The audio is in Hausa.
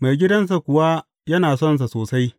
Maigidansa kuwa yana sonsa sosai.